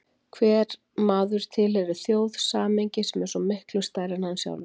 Hver maður tilheyrir þjóð, samhengi sem er svo miklu stærra en hann sjálfur.